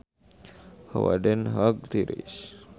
Hawa di Den Haag tiris